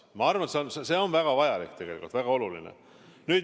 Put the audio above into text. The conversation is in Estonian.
Ma arvan, et see on väga vajalik, väga oluline.